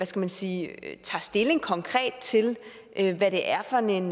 skal man sige tager stilling konkret til hvad det er for en